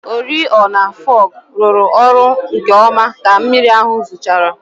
Oriọna fọgụ rụrụ ọrụ nkeọma ka mmiri ahụ zochara.